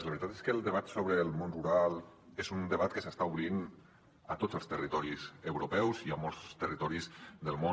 la veritat és que el debat sobre el món rural és un debat que s’està obrint a tots els territoris europeus i a molts territoris del món